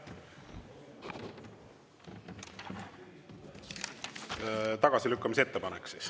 siis tagasilükkamise ettepanek?